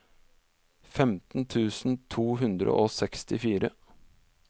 femten tusen to hundre og sekstifire